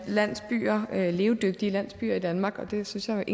landsbyer levedygtige landsbyer i danmark og det synes jeg